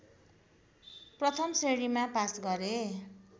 प्रथम श्रेणीमा पास गरे